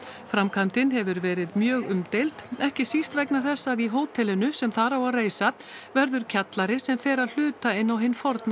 framkvæmdin hefur verið mjög umdeild ekki síst vegna þess að í hótelinu sem þar á að reisa verður kjallari sem fer að hluta inn á hinn forna